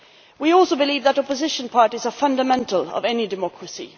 We also believe that opposition parties are fundamental to any democracy.